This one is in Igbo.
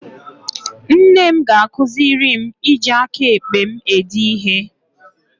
Nna m ga-akụziri m iji aka ekpe m ede ihe